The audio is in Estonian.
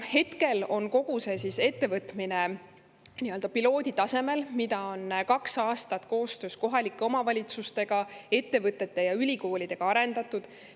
Hetkel on kogu see ettevõtmine piloodi tasemel, mida on kaks aastat koostöös kohalike omavalitsustega, ettevõtete ja ülikoolidega arendatud.